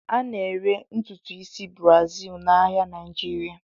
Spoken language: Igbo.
A na-ere ntutu isi Brazil n'ahịa Naịjirịa.